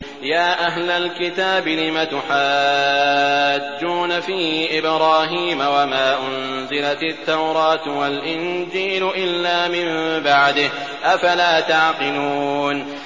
يَا أَهْلَ الْكِتَابِ لِمَ تُحَاجُّونَ فِي إِبْرَاهِيمَ وَمَا أُنزِلَتِ التَّوْرَاةُ وَالْإِنجِيلُ إِلَّا مِن بَعْدِهِ ۚ أَفَلَا تَعْقِلُونَ